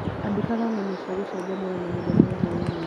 Andĩkaga ngano cia gũcanjamũra mahinda ma hwainĩ.